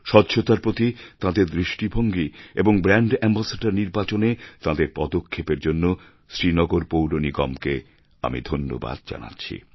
স্বচ্ছতার প্রতি তাঁদের দৃষ্টিভঙ্গি এবং ব্র্যাণ্ড অ্যাম্বাসেডর নির্বাচনে তাঁদের পদক্ষেপ এর জন্য শ্রীনগর পৌর নিগমকে আমি ধন্যবাদ জানাচ্ছি